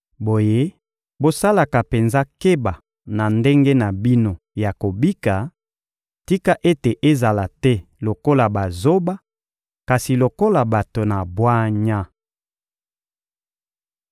Boye, bosalaka penza keba na ndenge na bino ya kobika; tika ete ezala te lokola bazoba, kasi lokola bato na bwanya.